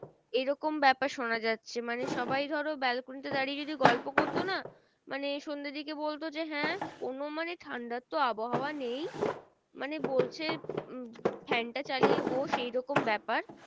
এরকম ব্যাপার শোনা যাচ্ছে মানে সবাই ধরো balcony দাঁড়িয়ে যদি গল্প করতো না? মানে সন্ধের দিকে বলতো যে হ্যাঁ কোনো মানে ঠান্ডা তো আবহাওয়া নেই মানে বলছে fan টা চালিয়ে বস, এই রকম ব্যাপার।